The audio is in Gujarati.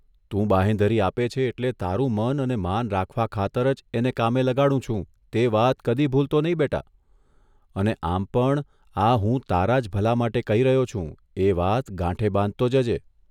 તું બાંહેધરી આપે છે એટલે તારું મન અને માન રાખવા ખાતર જ એને કામે લગાડું છું તે વાત કદી ભૂલતો નહીં, બેટા અને આમ પણ આ હું તારો જ ભલા માટે કહી રહ્યો છું એ વાત ગાંઠે બાંધતો જજે.